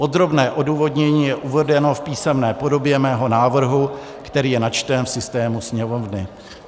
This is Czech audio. Podrobné odůvodnění je uvedeno v písemné podobě mého návrhu, který je načten v systému Sněmovny.